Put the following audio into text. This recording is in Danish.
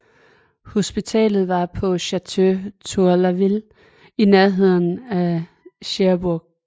Hospitalet var på Château Tourlaville i nærheden af Cherbourg